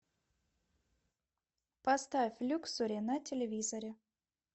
поставь люксори на телевизоре